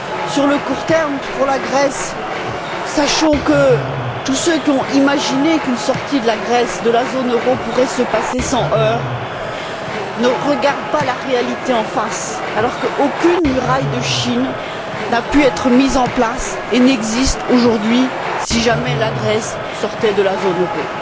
Sur le court terme, pour la Grèce, sachons que tous ceux qui ont imaginé qu'une sortie de la Grèce de la zone euro pourrait se passer sans heurts ne regardent pas la réalité en face, alors, qu'aucune muraille de Chine n'a pu être mise en place et n'existe aujourd'hui, pour le cas où la Grèce sortirait de la zone euro.